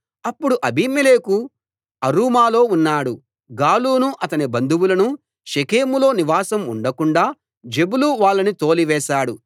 అప్పుడు అబీమెలెకు అరూమాలో ఉన్నాడు గాలును అతని బంధువులనూ షెకెములో నివాసం ఉండకుండాా జెబులు వాళ్ళని తోలి వేశాడు